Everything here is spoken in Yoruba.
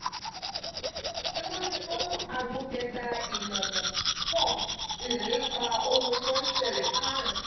mimojuto agbo keta imọmọ four ilepa ohun to nsele karun.